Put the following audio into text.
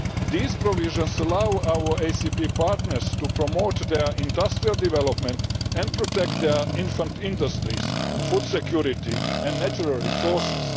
These provisions allow our ACP partners to promote their industrial development and protect their infant industries, food security and natural resources.